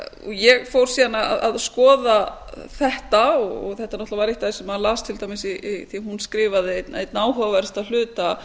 ég fór síðan að skoða þetta og þetta náttúrlega var eitt af því sem maður las til dæmis því að hún skrifaði einn áhugaverðasta hluta